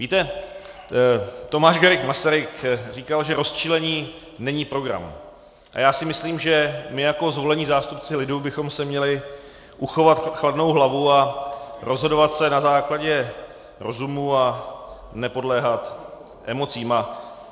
Víte, Tomáš Garrigue Masaryk říkal, že rozčilení není program, a já si myslím, že my jako zvolení zástupci lidu bychom si měli uchovat chladnou hlavu a rozhodovat se na základě rozumu a nepodléhat emocím.